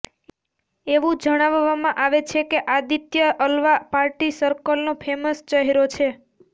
એવું જણાવવામાં આવે છે કે આદિત્ય અલ્વા પાર્ટી સર્કલનો ફેમસ ચહેરો છે